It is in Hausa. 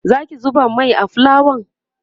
Zaki zuba Mai a fulawa?